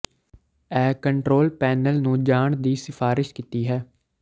ਇਹ control panel ਨੂੰ ਜਾਣ ਦੀ ਸਿਫਾਰਸ਼ ਕੀਤੀ ਹੈ